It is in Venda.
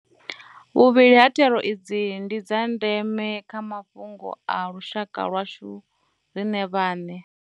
Vhuvhili ha thero idzi ndi dza ndeme kha mafhungo a lushaka lwashu riṋe vhaṋe.